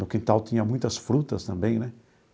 No quintal tinha muitas frutas também né.